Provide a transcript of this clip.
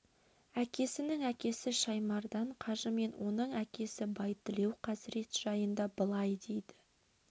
әкесінің әкесі шаймардан қажы мен оның әкесі байтілеу қазірет жайында былай дейді